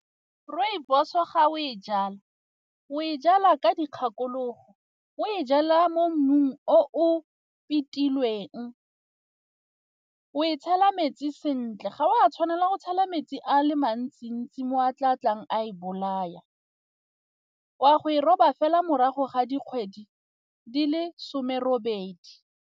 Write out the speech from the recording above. Rooibos ga o e jala, o e jala ka dikgakologo o e jalwa mo mmung o fitileng o e tshela metsi sentle ga o a tshwanela go tshela metsi a le mantsi-ntsi mo a tla batlang a e bolaya. O a go e roba fela morago ga dikgwedi di le some robedi.